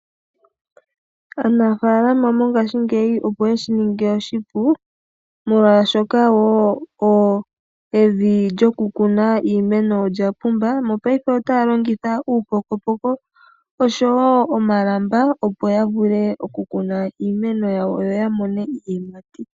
Aanafalama mongashingeyi opo yeshi ninge oshipu molwashoka evi lyo ku kuna iimeno olya pumba. Mopaife otayi longitha uupokopoko oshowo omalamba opo ya vule oku kuna iimeno yawo yo ya mone iiyimati.